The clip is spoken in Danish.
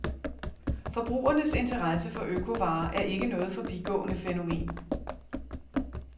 Forbrugernes interesse for økovarer er ikke noget forbigående fænomen.